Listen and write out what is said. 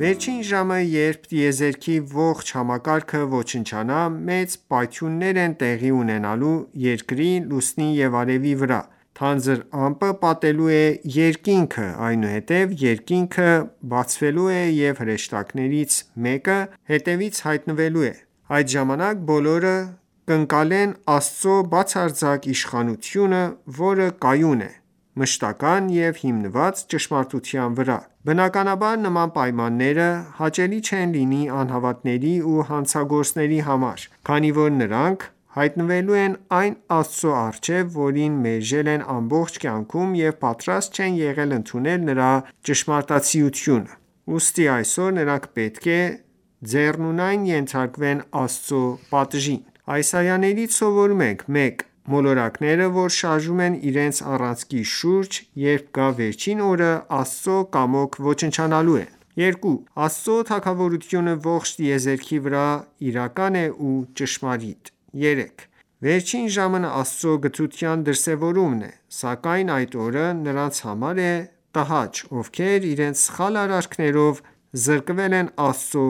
Վերջին ժամը, երբ տիեզերքի ողջ համակարգը ոչնչանա, մեծ պայթյուններ են տեղի ունենալու երկրի, լուսնի ու արևի վրա, թանձր ամպը պատելու է երկինքը, այնուհետև երկինքը բացվելու է և հրեշտակները մեկը մյուսի հետևից հայտնվելու են: Այդ ժամանակ, բոլորը կընկալեն Աստծո բացարձակ իշխանությունը, որը կայուն է, մշտական և հիմնված ճշմարտության վրա: Բնականաբար նման պայմանները հաճելի չեն լինի անհավատների ու հանցագործների համար, քանի որ նրանք հայտնվելու են այն Աստծո առջև, որին մերժել են ամբողջ կյանքում և պատրաստ չեն եղել ընդունել նրա ճշմարտացիությունը: Ուստի այսօր նրանք պետք է ձեռնունայն ենթարկվեն Աստծո պատժին: Այս այաներից սովորում ենք. 1. Մոլորակները, որ շարժվում են իրենց առանցքի շուրջ, երբ գա վերջին օրը, Աստծո կամոք ոչնչանալու են: 2. Աստծո թագավորությունը ողջ տիեզերքի վրա իրական է ու ճշմարիտ: 3. Վերջին ժամն Աստծո գթության դրսևորումն է: Սակայն այդ օրը նրանց համար է տհաճ, ովքեր իրենց սխալ արարքներով զրկվել են Աստծո